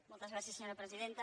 moltes gràcies senyora presidenta